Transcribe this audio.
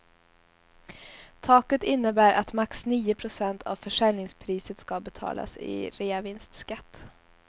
Taket innebär att max nio procent av försäljningspriset ska betalas i reavinstskatt.